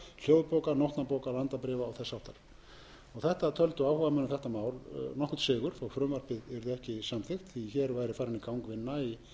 hljóðbóka nótnabóka landabréfa og þess háttar þetta töldu áhugamenn um þetta mál nokkurn sigur þó frumvarpið yrði ekki samþykkt því hér væri farin í gang vinna í